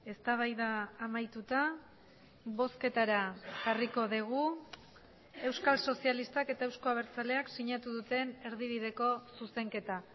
eztabaida amaituta bozketara jarriko dugu euskal sozialistak eta euzko abertzaleak sinatu duten erdibideko zuzenketa